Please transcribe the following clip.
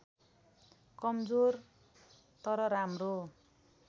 कमजोर तर राम्रो